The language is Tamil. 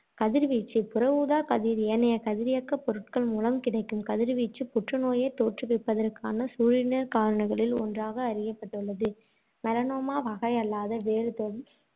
கதிர்வீச்சு புற ஊதாக் கதிர், ஏனைய கதிரியக்கப் பொருட்கள் மூலம் கிடைக்கும் கதிர்வீச்சு புற்றுநோயைத் தோற்றுவிப்பதற்கான சூழிடர் காரணிகளுள் ஒன்றாக அறியப்பட்டுள்ளது. melanoma வகையல்லாத, வேறு தோல்